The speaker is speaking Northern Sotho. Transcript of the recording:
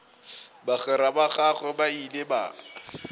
bagwera ba gagwe ba ile